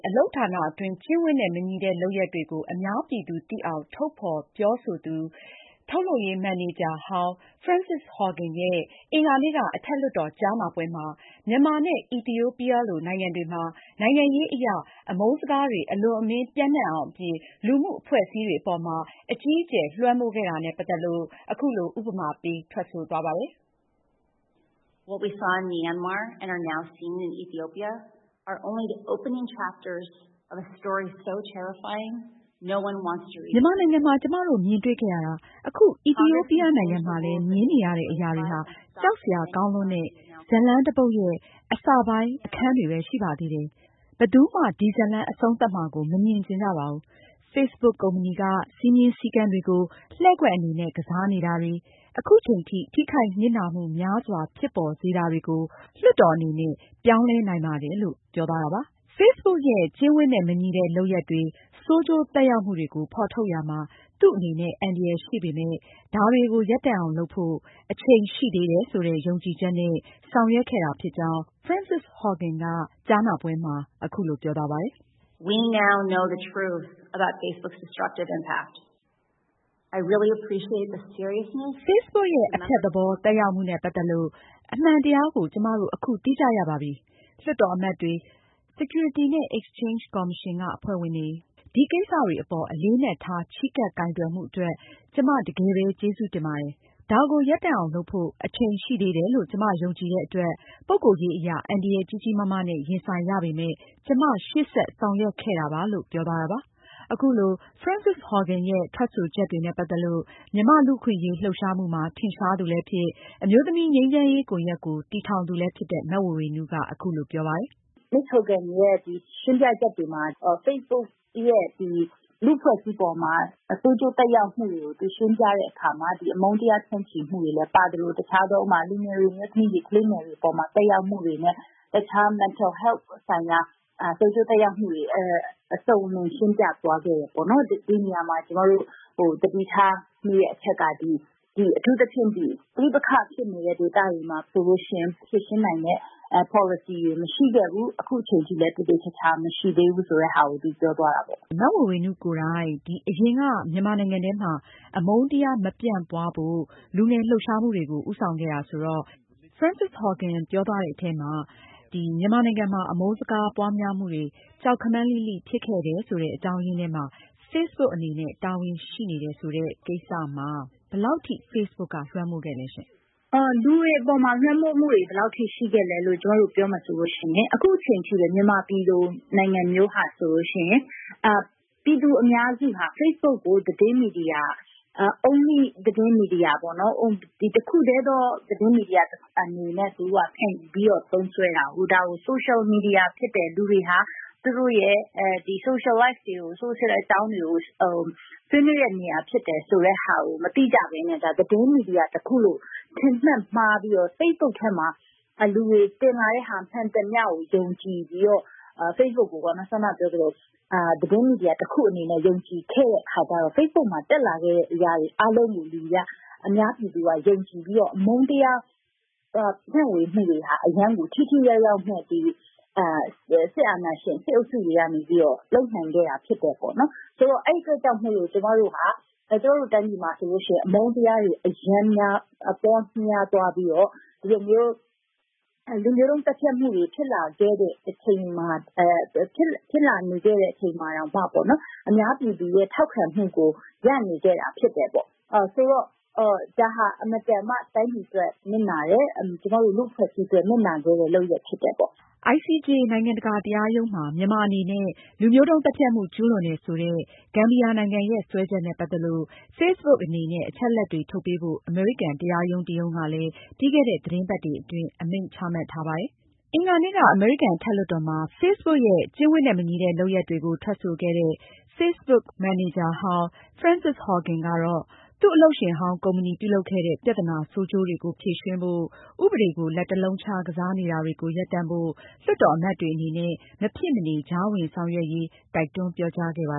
အလုပ်ဌာနအတွင်း ကျင့်ဝတ်နဲ့ မညီလုပ်ရပ်တွေကို အများပြည်သူ သိအောင် ထုတ်ဖေါ်ပြောဆိုသူ ထုတ်လုပ်ရေး မန်နေဂျာဟောင်း Frances Haugen ရဲ့ အင်္ဂါနေ့က အထက်လွှတ်တော်ကြားနားပွဲမှာ- မြန်မာနဲ့ အီသီယိုပီးယားလို နိုင်ငံတွေမှာ နိုင်ငံရေးအရ အမုန်းစကားတွေ အလွန်အမင်း ပျံ့နှံ့အောင် အပြင် လူမှုအဖွဲ့အစည်းတွေအပေါ်မှာ အကြီးအကျယ် လွှမ်းမိုးခဲ့တာနဲ့ ပတ်သက်လို့ အခုလို ထွက်ဆိုသွားပါတယ်။ “မြန်မာနိုင်ငံမှာ ကျမတို့ မြင်တွေ့ခဲ့ရတာ၊ အခု အီသီယိုးပီးယား နိုင်ငံမှာလည်း မြင်နေရတဲ့ အရာတွေဟာ ကြောက်စရာကောင်းလွန်းတဲ့ ဇာတ်လမ်းတပုဒ်ရဲ့ အစပိုင်း အခန်းတွေဘဲ ရှိပါသေးတယ်။ ဘယ်သူမှ ဒီဇာတ်လမ်း အဆုံးသတ်မှာကို မမြင်ချင်ကြပါဘူး။ Facebook ကုမ္ပဏီက စည်းမျဉ်းစည်းကမ်းတွေကို လှည့်ကွက်အနေနဲ့ ကစားနေတာတွေ၊ အခုချိန်ထိ ထိခိုက်နစ်နာမှုများစွာဖြစ်ပေါ်စေတာတွေကို လွှတ်တော်အနေနဲ့ ပြောင်းလဲနိုင်ပါတယ်။” Facebook ရဲ့ ကျင့်ဝတ်နဲ့ မညီတဲ့လုပ်ရပ်တွေ၊ ဆိုးကျိုးသက်ရောက်မှုတွေကို ဖေါ်ထုတ်ရာမှာ သူ့အနေနဲ့ အန္တရာယ်ရှိပေမဲ့ ဒါတွေကို ရပ်တန့်အောင်လုပ်ဖို့ အချိန်ရှိသေးတယ်ဆိုတဲ့ ယုံကြည်ချက်နဲ့ ဆောင်ရွက်ခဲ့တာဖြစ်ကြောင်း Frances Haugen က ကြားနာပွဲမှာ အခုလို ပြောသွားပါတယ်။ “Facebook ရဲ့ အဖျက်သဘော သက်ရောက်မှုနဲ့ ပတ်သက်လို့ အမှန်တရားကို ကျမတို့ အခု သိကြရပါပြီ။ လွှတ်တော်အမတ်တွေ၊ security နဲ့ exchange ကော်မရှင် အဖွဲ့ဝင်တွေ အနေနဲ့ ဒီကိစ္စတွေအပေါ် အလေးအနက်ထား ချဉ်းကပ်ကိုင်တွယ်မှု အတွက် ကျမ တကယ်ပဲ ကျေးဇူးတင်ပါတယ်။ ဒါကို ရပ်တန့်အောင် လုပ်ဖို့ အချိန်ရှိသေးတယ်လို့ ကျမယုံကြည်တဲ့အတွက် ပုဂ္ဂိုလ်ရေးအရ အန္တရာယ် ကြီးကြီးမားမားနဲ့ ရင်ဆိုင်ရပေမယ့် ကျမ ရှေ့ဆက်ပြီး ဆောင်ရွက်ခဲ့တာပါ။” အခုလို Frances Haugen ရဲ့ ထွက်ဆိုချက်တွေနဲ့ ပတ်သက်လို့ မြန်မာ့လူ့အခွင့်အရေးလှုပ်ရှားမှုမှာ ထင်ရှားသူလည်းဖြစ် အမျိုးသမီးငြိမ်းချမ်းရေး ကွန်ရက်ကို တည်ထောင်သူလည်းဖြစ်တဲ့ မဝေေ၀နုက အခုလို ပြောပါတယ်။ “ မစ္စ Haugen ရဲ့ ရှင်းပြချက်တွေမှာ Facebook ရဲ့ ဒီ လူ့အဖွဲ့အစည်းပေါ်မှာ ဆိုးကျိုး သက်ရောက်မှုတွေကို သူရှင်းပြတဲ့ အခါမှာ အမုန်းတရား ဖြန့်ချိမှုတွေလည်း ပါသလို တခြားသော လူငယ်တွေ၊ အမျိုးသမီးတွေ၊ ကလေးငယ်တွေ အပေါ်မှာ သက်ရောက်မှုတွေနဲ့ တခြား mental health ဆိုင်ရာ ဆိုးကျိုးသက်ရောက်မှုတွေ အစုံအလင် ရှင်းပြသွားခဲ့တယ်ပေါ့နော်။ ကျမတို့ သတိထားမိတဲ့ အချက်က အထူးသဖြင့် ပဋိပက္ခ ဖြစ်နေတဲ့ ဒေသတွေမှာ ဆိုလို့ ရှိရင် ဖြေရှင်းနိုင်တဲ့ ပေါ်လစီတွေ မရှိခဲ့ဘူး။ အခုအချိန်ထိလည်း မရှိသေးဘူးဆိုတာကို သူပြောသွားတာပေါ့။ ” မအင်ကြင်းနိုင် ။ ။ မဝေေ၀နုကိုယ်တိုင် အရင်က မြန်မာနိုင်ငံထဲမှာ အမုန်းတရားမပြန့်ပွားဖို့ လူငယ်လှုပ်ရှားမှုတွေကို ဦးဆောင်ခဲ့တာဆိုတော့ Frances Haugen ပြောသွားတဲ့အထဲမှာ မြန်မာနိုင်ငံမှာ အမုန်းစကားပွားများမှုတွေ ကြောက်ခမန်းလိလိဖြစ်ခဲ့တဲ့အကြောင်းအရင်းထဲမှာ Facebook အနေနဲ့ တာဝန်ရှိနေတယ်ဆိုတဲ့ ကိစ္စမှာ Facebook က ဘယ်လောက်ထိ လွှမ်းမိုးခဲ့သလဲရှင်။ မဝေေ၀နု ။ ။လူတွေပေါ်မှာ လွှမ်းမိုးမှုတွေ ဘယ်လောက်ထိ ရှိခဲ့လဲ့လို့ ကျမတို့ ပြောမယ်ဆိုလို့ ရှိရင် အခုအချိန်ထိ မြန်မာပြည်လို နိုင်ငံမျိုးဟာ ဆိုလို့ ရှိရင် ပြည်သူအများစုဟာ Facebook ကို သတင်းမီဒီယာ - Only သတင်းမီဒီယာပေါ့နော် တခုတည်းသော သတင်းမီဒီယာ အနေနဲ့ သူတို့က ခံယူပြီးတော့ သုံးစွဲတာကိုး။ ဒါကို Social Media ဖြစ်တယ်။ လူတွေဟာ သူတို့ရဲ့ Social Life တွေကို Social အကြောင်းတွေကို ဆွေးနွေးတဲ့ နေရာ ဖြစ်တယ် ဆိုတဲ့ဟာကို မသိကြဘဲနဲ့ ဒါ သတင်းမီဒီယာ တခုလို့ ထင်မှတ်မှားပြီးတော့ Facebook ထဲမှာ လူတွေ တင်လာတဲ့ဟာ မှန်သမျှကို ယုံကြည်ပြီးတော့ Facebook ကို စောန ပြောသလို သတင်းမီဒီယာ တခု အနေနဲ့ ယုံကြည်တဲ့ အခါကျတော့ Facebook မှာ တက်လာတဲ့ အရာ အားလုံးသည် အများပြည်သူက ယုံကြည်ပြီးတော့ အမုန်းတရားတွေ ဖြန့်ဝေမှုတွေဟာ အရမ်းကို ထိထိရောက်ရောက်နဲ့ ဒီ စစ်အာဏာရှင် စစ်အုပ်ချုပ်ရေးကနေ လုပ်နိုင်ခဲ့တာ ဖြစ်တယ်ပေါ့နော်။ ဆိုတော့ အဲဒီ အတွက်ကြောင့်မို့လို့ ကျမတို့ဟာ ကျမတို့ တိုင်းပြည်မှာ ဆိုလို့ ရှိရင် အမုန်းတရားတွေ အရမ်း ပေါများသွားပြီးတော့ ဒီလိုမျိုး လူမျိုးတုန်း သတ်ဖြတ်မှုတွေ ဖြစ်လာနေခဲ့တဲ့ အချိန်မှာ တောင်မှ အများပြည်သူရဲ့ ထောက်ခံမှုကို ရနေခဲ့တာ ဖြစ်တယ်ပေါ့။ ဆိုတော့ ဒါဟာ အင်မတန်မှ တိုင်းပြည် အတွက် နစ်နာတယ်။ ကျမတို့ လူ့အဖွဲ့အစည်း အတွက် နစ်နာခဲ့တဲ့ လုပ်ရပ် ဖြစ်တယ်ပေါ့။ ICJ နိုင်ငံတကာတရားရုံးမှာ မြန်မာအနေနဲ့ လူမျိုးတုန်း သတ်ဖြတ်မှု ကျူးလွန်တယ်ဆိုတဲ့ ဂမ်ဘီယာနိုင်ငံရဲ့ စွဲချက်နဲ့ ပတ်သက်လို့ Facebook အနေနဲ့ အချက်အလက်တွေ ထုတ်ပေးဖို့ အမေရိကန် တရားရုံး တရုံးကလည်း ပြီးခဲ့တဲ့ သီတင်းပတ်တွေ အတွင်း အမိန့် ချမှတ်ထားပါတယ်။ အင်္ဂါနေ့က အမေရိကန်အထက်လွှတ်တော်မှာ Facebook ရဲ့ ကျင့်ဝတ်မညီတဲ့ လုပ်ရပ်တွေကို ထွက်ဆိုခဲ့တဲ့ Facebook မန်နေဂျာဟောင်း Frances Haugen ကတော့ သူ့အလုပ်ရှင်ဟောင်းကုမ္ပဏီ ပြုလုပ်ခဲ့တဲ့ ပြဿနာ ဆိုးကျိုးတွေကို ဖြေရှင်းဖို့၊ ဥပဒေကို လက်တလုံးခြား ကစားနေတာတွေကို ရပ်တန့်ဖို့ လွှတ်တော်အမတ်တွေ အနေနဲ့ မဖြစ်မနေ ကြားဝင်ဆောင်ရွက်ရေး တိုက်တွန်းပြောကြားခဲ့ပါ